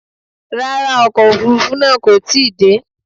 Rárá, ọkọ̀ Òfurufú náà kò tí ì dé.